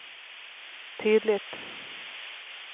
tydligt